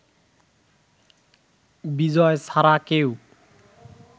বিজয় ছাড়া কেউ